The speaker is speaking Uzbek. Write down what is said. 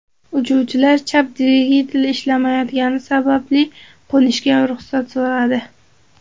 Uchuvchilar chap dvigatel ishlamayotgani sababli qo‘nishga ruxsat so‘radi.